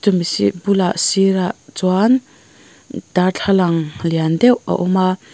bulah sîrah chuan darthlalang lian deuh a awm a.